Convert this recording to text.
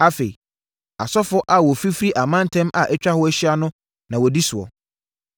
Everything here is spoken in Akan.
Afei, asɔfoɔ a wɔfifiri amantam a atwa hɔ ahyia na wɔdi soɔ.